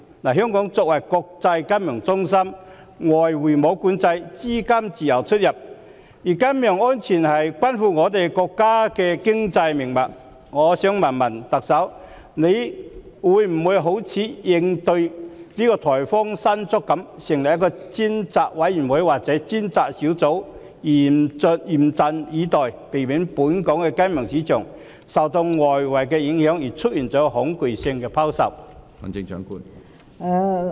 香港作為國際金融中心，沒有外匯管制，資金自由出入，而金融安全關乎國家的經濟命脈，我想問特首，會否好像應對颱風"山竹"一樣，成立專責委員會或專責小組，嚴陣以待，避免本港的金融市場受外圍影響而出現恐慌性拋售？